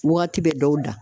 Wagati bɛ dɔw da